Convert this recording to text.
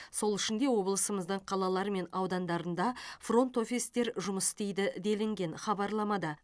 сол үшін де облысымыздың қалалары мен аудандарында фронт офистер жұмыс істейді делінген хабарламада